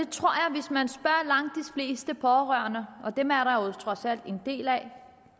fleste pårørende og dem er der jo trods alt en del af